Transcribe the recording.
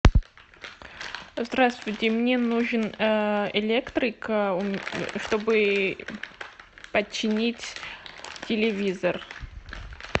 здравствуйте мне нужен электрик чтобы починить телевизор